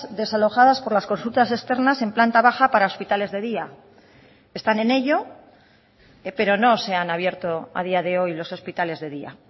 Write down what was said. desalojadas por las consultas externas en planta baja para hospitales de día están en ello pero no se han abierto a día de hoy los hospitales de día